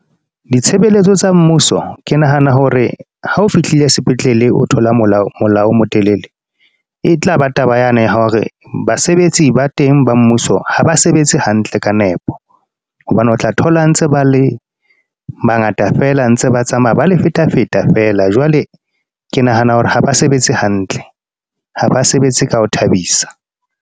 Ditshebeletso tsa mmuso. Ke nahana hore ha o fihlile sepetlele, o thola mola o mo telele. E tlaba taba yane ya hore basebetsi ba teng ba mmuso, ha ba sebetse hantle ka nepo. Hobane o tla thola ntse ba le bangata feela a ntse ba tsamaya, bale feta feta feela. Jwale ke nahana hore ha ba sebetse hantle, ha ba sebetse ka ho thabisa.